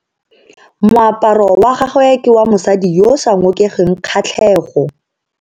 Moaparo wa gagwe ke wa mosadi yo o sa ngokeng kgatlhego.